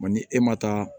ni e ma taa